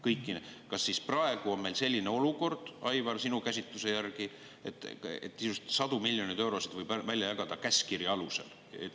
Kas siis praegu on meil selline olukord, Aivar, sinu käsitluse järgi, et sadu miljoneid eurosid võib jagada käskkirja alusel?